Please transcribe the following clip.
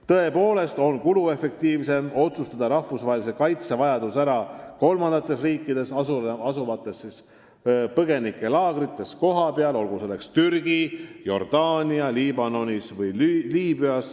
Tõepoolest on kuluefektiivsem otsustada rahvusvahelise kaitse vajadus ära kolmandates riikides asuvates põgenikelaagrites kohapeal, olgu selleks riigiks Türgi, Jordaania, Liibanon või Liibüa.